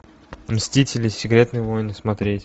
мстители секретные войны смотреть